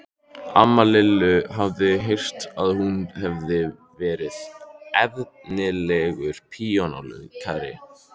Amma Lillu hafði heyrt að hún hefði verið efnilegur píanóleikari.